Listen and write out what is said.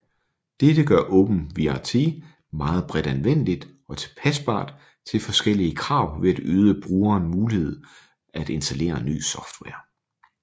Dette gør OpenWrt meget bredt anvendeligt og tilpasbart til forskellige krav ved at yde brugeren muligheden at installere ny software